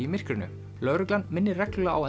í myrkrinu lögreglan minnir reglulega á